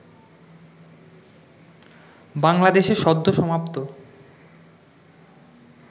বাংলাদেশে সদ্যসমাপ্ত